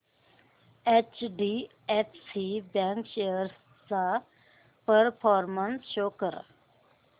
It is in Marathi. एचडीएफसी बँक शेअर्स चा परफॉर्मन्स शो कर